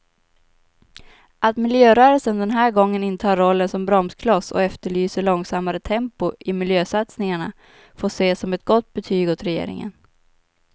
Att miljörörelsen den här gången intar rollen som bromskloss och efterlyser långsammare tempo i miljösatsningarna får ses som ett gott betyg åt regeringen.